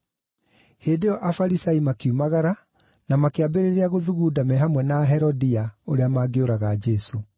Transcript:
Hĩndĩ ĩyo Afarisai makiumagara na makĩambĩrĩria gũthugunda me hamwe na Aherodia ũrĩa mangĩũraga Jesũ.